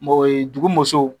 N b'o ye dugu musow